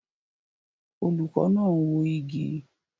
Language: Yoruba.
Olùkọ́ náà ń wó igi